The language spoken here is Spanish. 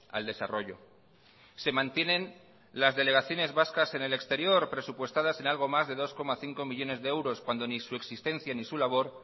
al desarrollo se mantienen las delegaciones vascas en el exterior presupuestadas en algo más de dos coma cinco millónes de euros cuando ni su existencia ni su labor